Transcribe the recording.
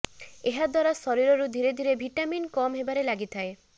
ଏହା ଦ୍ବାରା ଶରୀରରୁ ଧୀରେ ଧୀରେ ଭିଟାମିନ କମ୍ ହେବାରେ ଲାଗିଥାଏ